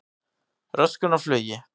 Röskun á flugi